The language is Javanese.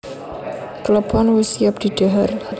Klepon wis siap didhahar